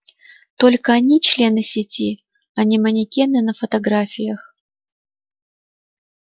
только они члены сети а не манекены на фотографиях